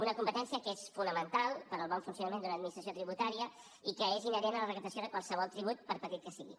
una competència que és fonamental per al bon funcionament d’una administració tributària i que és inherent a la recaptació de qualsevol tribut per petit que sigui